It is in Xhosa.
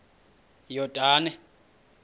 yordane